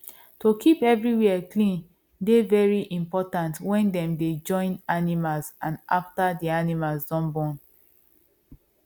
to keep everywhere clean dey very important when dem dey join animals and after the animal don born